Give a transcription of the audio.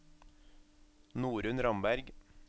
Norunn Ramberg